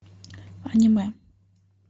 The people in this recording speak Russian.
аниме